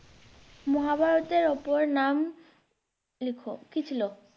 মহাভারতের অপর নাম লেখ। কি ছিল?